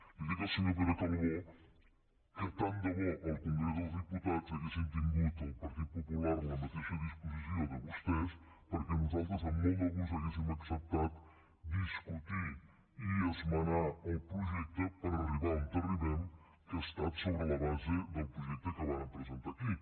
li dic al senyor pere calbó que tant de bo al congrés dels diputats haguessin tingut el partit popular la mateixa disposició de vostès perquè nosaltres amb molt de gust hauríem acceptat discutir i esmenar el projecte per arribar a on arribem que ha estat sobre la base del projecte que vàrem presentar aquí